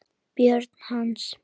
Börn hans.